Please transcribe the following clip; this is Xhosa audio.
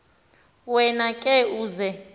wena ke uza